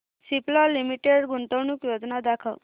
Cipla limited गुंतवणूक योजना दाखव